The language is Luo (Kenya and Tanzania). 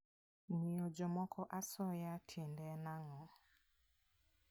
Miyo jomoko asoya tiende en ang'o?